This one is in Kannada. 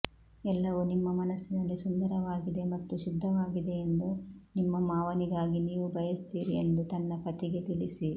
ಎಲ್ಲವೂ ನಿಮ್ಮ ಮನಸ್ಸಿನಲ್ಲಿ ಸುಂದರವಾಗಿದೆ ಮತ್ತು ಶುದ್ಧವಾಗಿದೆಯೆಂದು ನಿಮ್ಮ ಮಾವನಿಗಾಗಿ ನೀವು ಬಯಸುತ್ತೀರಿ ಎಂದು ತನ್ನ ಪತಿಗೆ ತಿಳಿಸಿ